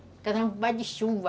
Casamento mais de chuva.